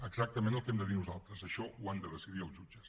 exactament el que hem de dir nosaltres això ho han de decidir els jutges